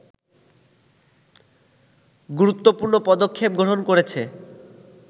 গুরুত্বপৃর্ণ পদক্ষেপ গ্রহণ করেছে